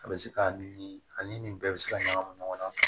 A bɛ se ka ni ani ni nin bɛɛ bɛ se ka ɲagamu ɲɔgɔn na